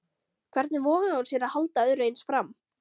Hvernig vogaði hún sér að halda öðru eins fram?